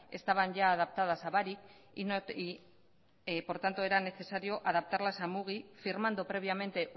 estaban ya adaptadas a barik y por tanto era necesario adaptarlas a mugi firmando previamente